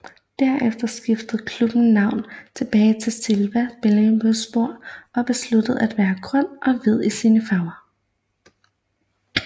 Derefter skiftede klubben navn tilbage til Sivas Belediyespor og besluttede at være grøn og hvid i sine farver